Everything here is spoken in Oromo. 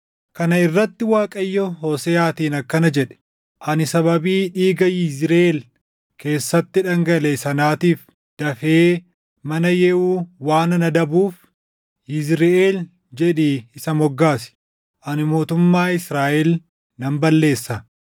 Kana irratti Waaqayyo Hooseʼaatiin akkana jedhe; “Ani sababii dhiiga Yizriʼeel keessatti dhangalaʼe sanaatiif dafee mana Yehuu waanan adabuuf Yizriʼeel jedhii isa moggaasi; ani mootummaa Israaʼel nan balleessa.